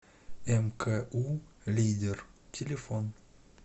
мку лидер телефон